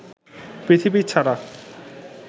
পৃথিবী ছাড়া